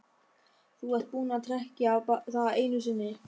Þú ert búinn að trekkja það einu sinni.